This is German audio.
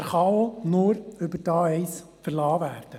Er kann auch nur über die A1 verlassen werden.